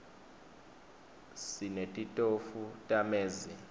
sinetitofu tamezi